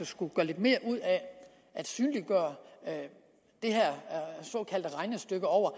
skulle gøre lidt mere ud af at synliggøre det her såkaldte regnestykke over